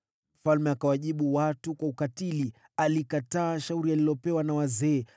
Mfalme akawajibu watu kwa ukatili. Akikataa shauri alilopewa na wazee,